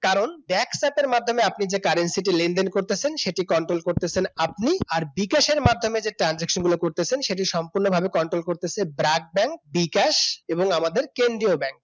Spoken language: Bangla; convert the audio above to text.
কারণ ব্যাকপ্যাক এর মাধ্যমে আপনি যে currency টি লেনদেন করতেছেন সেটি control করতেছেন আপনি বিকাশের মাধ্যমে যে transaction গুলো করতেছেন সেটি সম্পূর্ণভাবে control করতেছে branch ব্যাংক বিকাশ এবং আমাদের কেন্দ্রীয় ব্যাংক